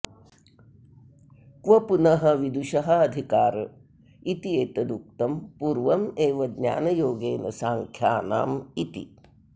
क्व पुनः विदुषः अधिकार इति एतदुक्तं पूर्वमेव ज्ञानयोगेन सांख्यानाम् इति